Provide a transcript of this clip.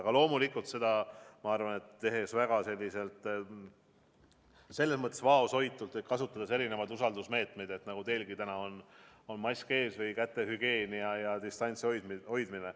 Aga loomulikult tehes seda väga vaoshoitult, kasutades erinevaid usaldusmeetmeid, nagu mask – teilgi on täna mask ees – või kätehügieen ja distantsi hoidmine.